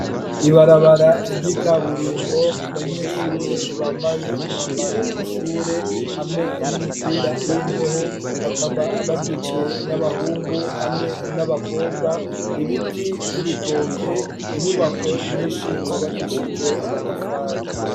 Ibarabara ry'ikaburimbo, abanyeshure bambaye umwambaro w'ishure, hamwe n'imipira y'imbeho, bakaba bagizwe n'abahungu, hamwe n'abakobwa; ibiti vy'ibitoke, inyubako nyinshi, zubakishijwe amatafari.